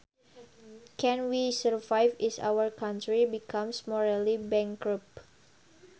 Can we survive is our country becomes morally bankrupt